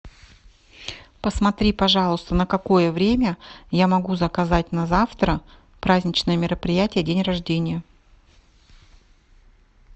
посмотри пожалуйста на какое время я могу заказать на завтра праздничное мероприятие день рождения